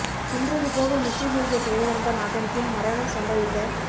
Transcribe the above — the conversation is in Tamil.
தின்றது போக மிச்சமிருந்த துயரம் தான் அதன் பின் மரணம் சம்பவித்த